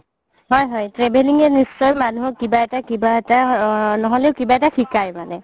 হয় হয় traveling য়ে নিশ্চয় মানুহক কিবা এটা কিবা এটা নহ'লে কিবা এটা শিকাই মানে